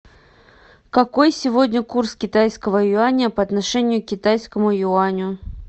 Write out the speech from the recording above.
какой сегодня курс китайского юаня по отношению к китайскому юаню